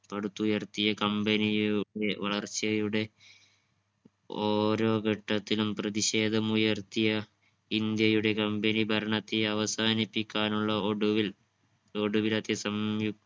പടുത്തുയർത്തിയ company യുടെ വളർച്ചയുടെ ഓരോ ഘട്ടത്തിലും പ്രതിഷേധം ഉയർത്തിയ ഇന്ത്യയുടെ company ഭരണത്തെ അവസാനിപ്പിക്കാനുള്ള ഒടുവിൽ ഒടുവിലത്തെ സംയു